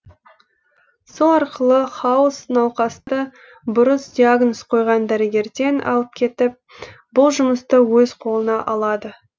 сол арқылы хаус науқасты бұрыс диагноз қойған дәрігерден алып кетіп бұл жұмысты өз қолына алады